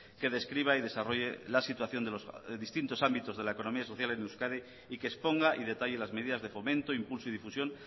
que describa y desarrolle la situación de los distintos ámbitos de la economía social en euskadi y que exponga y detalle las medidas de fomento impulso y difusión